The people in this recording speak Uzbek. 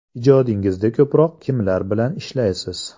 Ijodingizda ko‘proq kimlar bilan ishlaysiz?